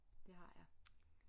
Det har jeg